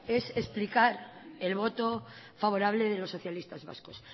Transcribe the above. es explicar el voto favorable de los socialistas vascos